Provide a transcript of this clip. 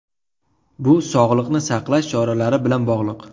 Bu sog‘liqni saqlash choralari bilan bog‘liq.